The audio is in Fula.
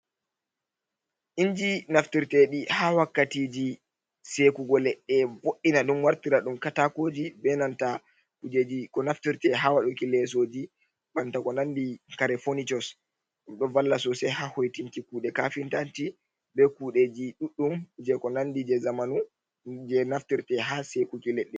Inji naftirtedi ha wakkatiji sekugo leɗɗe ɓo’ina ɗum wartira ɗum katakoji, benanta kujeji ko naftirte ha waduki lesoji, banta ko nandi kare fonichus ɗum ɗo valla sosai ha hoitinki kuɗe kafintanti be kudeji ɗuddum je ko nandi je zamanu je naftirte ha sekuki ledɗe.